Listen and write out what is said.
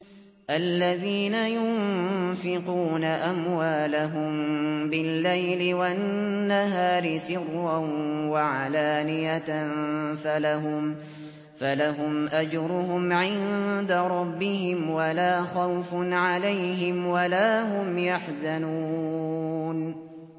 الَّذِينَ يُنفِقُونَ أَمْوَالَهُم بِاللَّيْلِ وَالنَّهَارِ سِرًّا وَعَلَانِيَةً فَلَهُمْ أَجْرُهُمْ عِندَ رَبِّهِمْ وَلَا خَوْفٌ عَلَيْهِمْ وَلَا هُمْ يَحْزَنُونَ